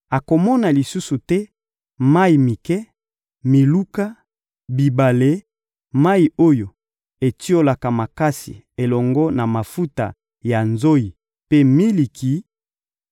Akomona lisusu te mayi mike, miluka, bibale, mayi oyo etiolaka makasi elongo na mafuta ya nzoyi mpe miliki;